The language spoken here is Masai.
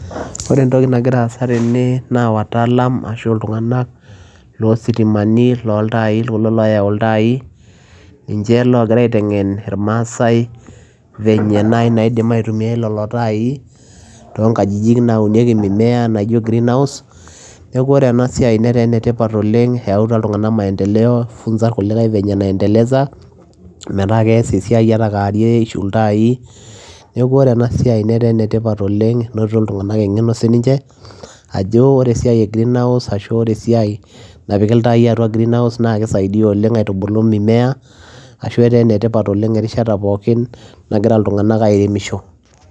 ore entoki nangira asa tene.na watalam ashu iltunganak lositimani, lontai kulo loyau iltai ninche oingira aitengen ilmasaai, venye naji naidim aitumia lelo tai, ton nkajiji, naunieki mimea naijio green house niaku ore ena siai na enetipat oleng, eyauta iltungana maendeleo, funza ilkulikae venye naendeleza. meeta keas esiai ata a kewarie, ishiu iltai niaku ore ena siai netaa enetipat oleng, enotito iltungana engeno sininche, ajo ore esiai e greenhouse ashu ore esiai napiki iltai atua green house na kisaidia oleng aitubulu mimea, ashu eta enetipat oleng, erishata pooki nangira iltungana airemisho,